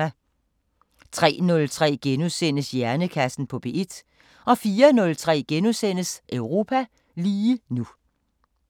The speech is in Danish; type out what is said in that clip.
03:03: Hjernekassen på P1 * 04:03: Europa lige nu *